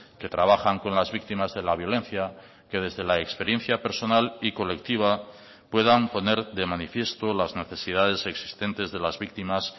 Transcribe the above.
que trabajan con las víctimas de la violencia que desde la experiencia personal y colectiva puedan poner de manifiesto las necesidades existentes de las víctimas